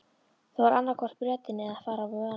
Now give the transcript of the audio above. Það var annaðhvort Bretinn eða að fara á vonarvöl.